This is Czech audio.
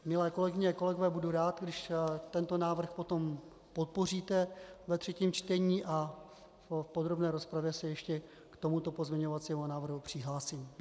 Milé kolegyně a kolegové, budu rád, když tento návrh potom podpoříte ve třetím čtení, a v podrobné rozpravě se ještě k tomuto pozměňovacímu návrhu přihlásím.